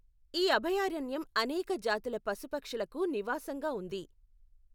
ఈ అభయారణ్యం అనేక జాతుల పశుపక్షులకు నివాసంగా ఉంది.